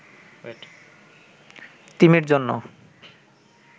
তিমির জন্য